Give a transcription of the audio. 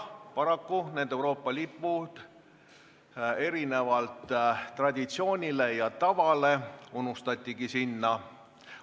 Paraku need Euroopa Liidu lipud erinevalt traditsioonist ja tavast unustatigi sinna.